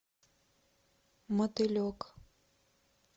мотылек